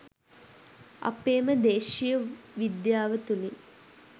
අපේම දේශීය විද්‍යාව තුලින්